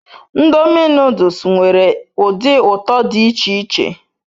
Ndomi noduls nwere udi uto di ich-iche